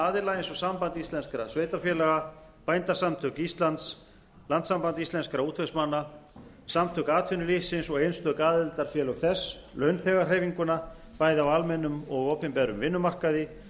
aðila eins og samband íslenskra sveitarfélaga bændasamtök íslands landssamband íslenskra útvegsmanna samtök atvinnulífsins og einstök aðildarfélög þess launþegahreyfinguna bæði á almennum og opinberum vinnumarkaði